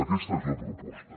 aquesta és la proposta